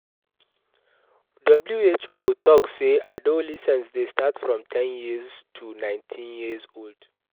WHO talk say adolescence de start from ten year old to 19 year old